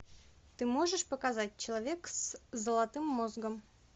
ты можешь показать человек с золотым мозгом